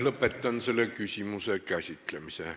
Lõpetan selle küsimuse käsitlemise.